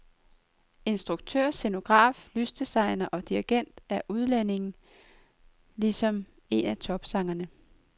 Instruktør, scenograf, lysdesigner og dirigent er udlændinge, ligesom en af topsangerne.